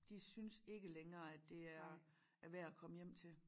De synes ikke længere at det er er værd at komme hjem til